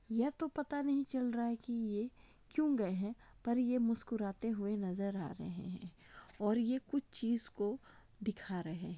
ये तो पता नहीं चल रहा है कि ये क्यों गए हैं पर ये मुस्कुराते हुए नजर आ रहे हैं और ये कुछ चीज को दिखा रहे हैं।